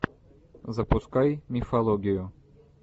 запускай мифологию